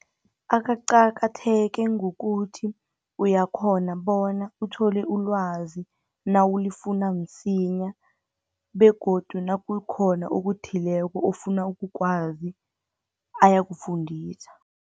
Akaqakatheke ngokuthi, uyakghona bona uthole ilwazi nawulifuna msinya, begodu nakukhona okuthileko ofuna ukukwazi ayakufundisa.